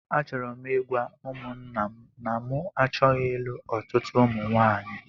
Achọrọ m ịgwa ụmụńnà m na mụ achọghị ịlụ ọtụtụ ụmụ nwaanyị